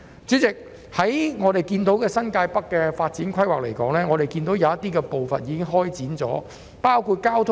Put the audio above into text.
主席，新界北的發展規劃有些部分已經展開，包括交通設施。